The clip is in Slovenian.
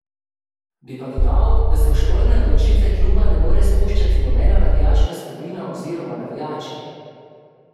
Bi pa dodal, da se v športne odločitve kluba ne more spuščati nobena navijaška skupina oziroma navijači.